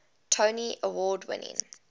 tony award winning